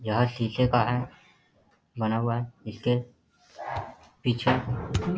यह शीशे का है बना हुआ है इसके पीछे --